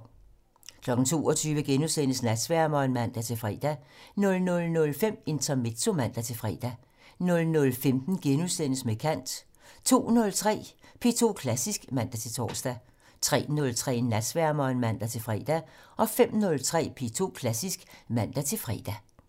22:00: Natsværmeren *(man-fre) 00:05: Intermezzo (man-fre) 00:15: Med kant * 02:03: P2 Klassisk (man-tor) 03:03: Natsværmeren (man-fre) 05:03: P2 Klassisk (man-fre)